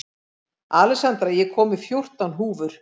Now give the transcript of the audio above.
Alexandra, ég kom með fjórtán húfur!